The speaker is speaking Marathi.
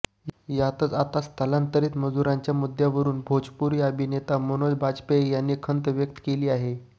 यातच आता स्थलांतरित मजुरांच्या मुद्द्यावरून भोजपुरी अभिनेता मनोज बाजपेयी याने खंत व्यक्त केली आहे